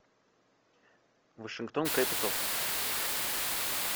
вашингтон кэпиталс